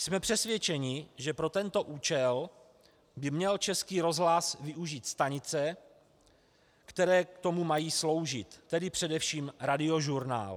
Jsme přesvědčeni, že pro tento účel by měl Český rozhlas využít stanice, které k tomu mají sloužit, tedy především Radiožurnál.